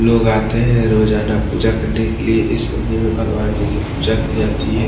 लोग आते हैं रोजाना पूजा करने के लिए इस मंदिर में भगवान जी की पूजा की जाती है।